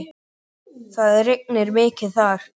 Það rignir mikið þar.